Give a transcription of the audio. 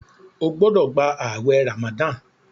o gbódò gbà awé ramadan!